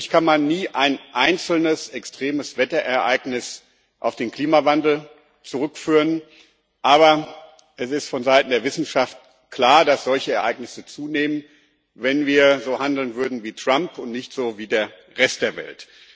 Natürlich kann man nie ein einzelnes extremes Wetterereignis auf den Klimawandel zurückführen, aber es ist vonseiten der Wissenschaft klar, dass solche Ereignisse zunähmen, wenn wir so handeln würden wie Trump und nicht so wie der Rest der Welt.